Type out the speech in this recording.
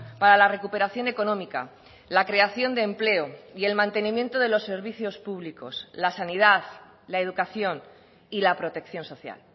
para la recuperación económica la creación de empleo y el mantenimiento de los servicios públicos la sanidad la educación y la protección social